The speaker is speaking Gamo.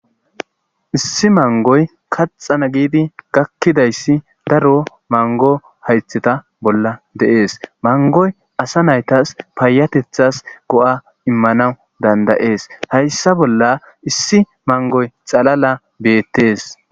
issi mangoy kaxana giidi gakkidayssi daro mango haytheta bolla de'es mangoy asa naytas paayatethas go7a immanawu dandayees hayssa bolla issi mangoy xalala beettees